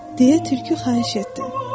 Deyə Tülkü xahiş etdi.